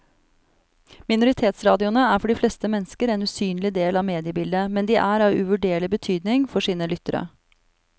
Minoritetsradioene er for de fleste mennesker en usynlig del av mediebildet, men de er av uvurderlig betydning for sine lyttere.